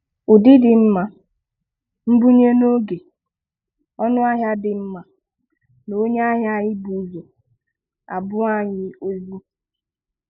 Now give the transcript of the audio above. Ụdị dị mma, mbunye n'oge, ọnụahịa na di mma, na onye ahia anyi ị bu ụzọ, A bụ anyị ozi.